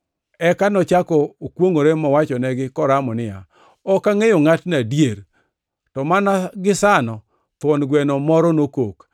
Eka nochako kwongʼore mowachonegi koramo niya, “Ok angʼeyo ngʼatno adier!” To mana gisano thuon gweno moro nokok.